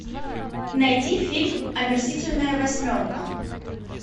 найди фильм омерзительная восьмерка